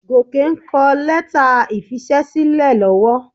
Gòkè ń kọ lẹ́tà ìfisẹ́sílẹ̀ lọ́wọ́.